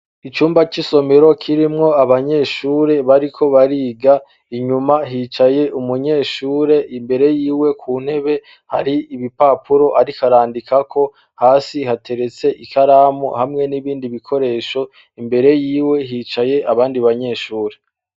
Icumba c'isomero kirimwo abanyeshuri bariko bariga inyuma hicaye umunyeshure imbere yiwe ku ntebe hari ibipapuro ariko arandikako hasi hateretse ikaramu hamwe n'ibindi bikoresho imbere yiwe hicaye abandi banyeshuri.